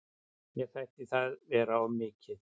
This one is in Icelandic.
Mér þætti það vera of mikið.